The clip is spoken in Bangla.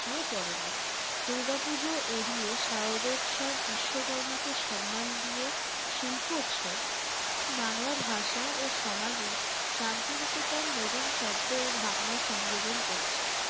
পরেনি। দূর্গাপূজো এড়িয়ে শারদ উৎসব, বিশ্বকর্মাকে সন্মান দিয়ে শিল্প উৎসব, বাংলা ভাষা ও সমাজে শান্তি নিকেতন নতুন শব্দ ও ভাবনা সংযোজন করেছে।